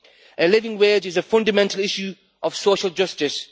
A living wage is a fundamental issue of social justice.